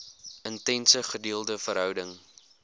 intense gedeelde verhouding